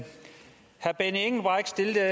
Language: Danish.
det her